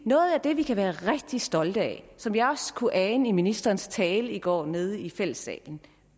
noget af det vi kan være rigtig stolte af som jeg også kunne ane i ministerens tale i går nede i fællessalen